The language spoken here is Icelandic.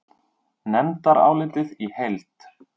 Nefndarálitið í heild